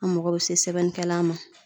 An mago bɛ se sɛbɛnnikɛlan ma.